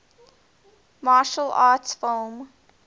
martial arts film